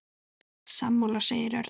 Sammála sagði Örn.